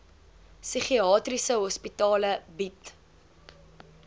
psigiatriese hospitale bied